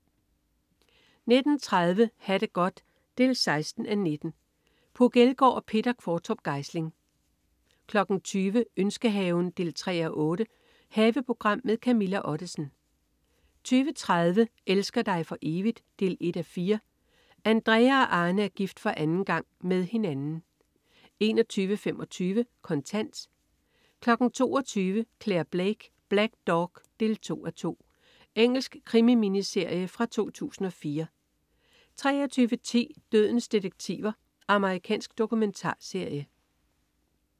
19.30 Ha' det godt 16:19. Puk Elgård og Peter Qvortrup Geisling 20.00 Ønskehaven 3:8. Haveprogram med Camilla Ottesen 20.30 Elsker dig for evigt? 1:4. Andrea og Arne er gift for anden gang. Med hinanden 21.25 Kontant 22.00 Clare Blake: Black Dog 2:2. Engelsk krimi-miniserie fra 2004 23.10 Dødens detektiver. Amerikansk dokumentarserie